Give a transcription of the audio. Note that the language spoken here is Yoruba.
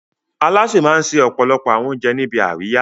Alásè máa ń se ọ̀pọ̀lọpọ̀ àwọn oúnjẹ níbi àríyá.